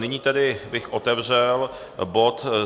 Nyní bych tedy otevřel bod